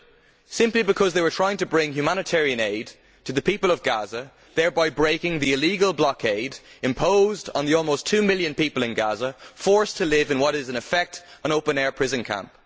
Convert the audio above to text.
It was because these people were simply trying to bring humanitarian aid to the people of Gaza, thereby breaking the illegal blockade imposed on the almost two million people in Gaza, who are forced to live in what is in effect an open air prison camp.